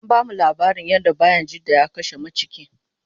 an bamu laabarin yadda bayajidda ya kashe maciki